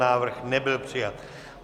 Návrh nebyl přijat.